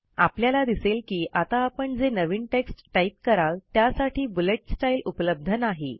आपल्याला दिसेल की आता आपण जे नवीन टेक्स्ट टाईप कराल त्यासाठी बुलेट स्टाईल उपलब्ध नाही